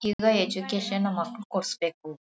ಈಗ ಎಜುಕೇಷನ್ನ ನಮ್ ಮಕ್ಕಳಿಗೆ ಕೊಡ್ಸಬೇಕು.